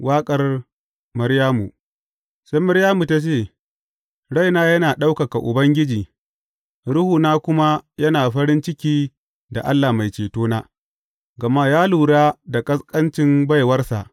Waƙar Maryamu Sai Maryamu ta ce, Raina yana ɗaukaka Ubangiji ruhuna kuma yana farin ciki da Allah Mai Cetona, gama ya lura da ƙasƙancin baiwarsa.